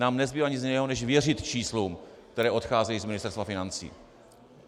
Nám nezbývá nic jiného než věřit číslům, která odcházejí z Ministerstva financí.